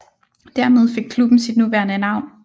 Dermed fik klubben sit nuværende navn